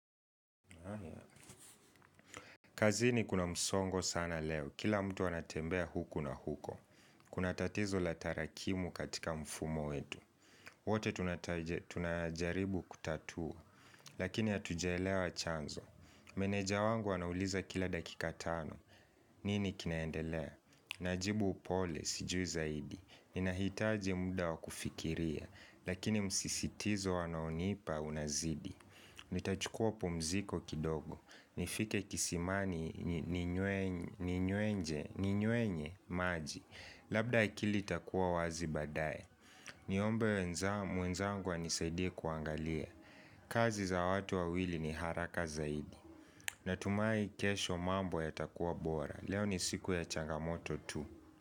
Kazini kuna msongo sana leo Kila mtu anatembea huku na huko Kuna tatizo la tarakimu katika mfumo wetu wote tunajaribu kutatua Lakini hatujaelewa chanzo Meneja wangu wanauliza kila dakika tano nini kinaendelea? Najibu upole sijui zaidi Ninahitaji muda wa kufikiria Lakini msisitizo wanaonipa unazidii Nitachukua pumziko kidogo nifike kisimani ninywenye maji Labda akili itakuwa wazi baadaye ni ombe mwenzangu anisaidie kuangalia kazi za watu wawili ni haraka zaidi Natumai kesho mambo yatakuwa bora Leo ni siku ya changamoto tu.